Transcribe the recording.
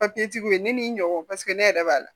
tigiw ye ne ni n ɲɔgɔn paseke ne yɛrɛ b'a la